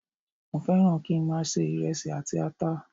Mo fẹ́ràn kí í máa se iresi àti ata.